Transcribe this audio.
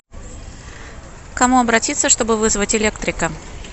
к кому обратиться чтобы вызвать электрика